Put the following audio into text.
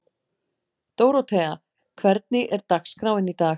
Dórótea, hvernig er dagskráin í dag?